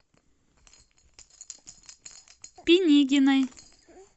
пинигиной